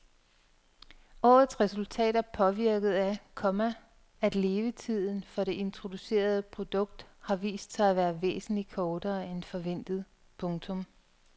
Årets resultat er påvirket af, komma at levetiden for det introducerede produkt har vist sig at være væsentlig kortere end forventet. punktum